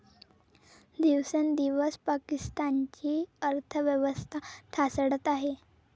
दिवसेंदिवस पाकिस्तानची अर्थव्यवस्था ढासळत आहे.